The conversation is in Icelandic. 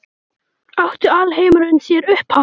Átti alheimurinn sér upphaf?